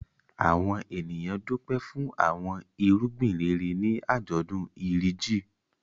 Àwọn ènìyàn dúpẹ́ fún àwọn irúgbìn rere ní àjọ̀dún Iri Ji.